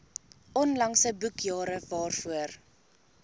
onlangse boekjare waarvoor